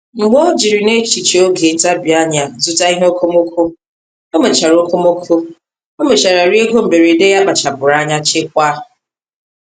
Mgbe o jiri n’echiche oge ntabi anya zụta ihe okomoko, ọ mechara okomoko, ọ mechara rie ego mberede ya kpachapụrụ anya chekwaa.